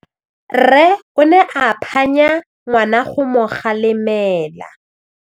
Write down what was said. Rre o ne a phanya ngwana go mo galemela.